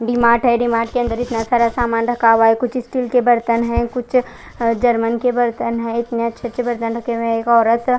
D- Mart है D- Mart के अंदर इतना सारा सामान रखा हुआ है कुछ स्टील के बर्तन है कुछ है जर्मन के बर्तन है एक मेज छे छे बर्तन रखे हुए है एक ओरत--